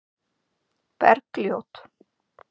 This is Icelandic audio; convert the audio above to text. Bergljót